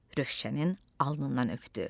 Rövşənin alnından öpdü.